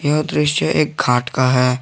यह दृश्य एक घाट का है।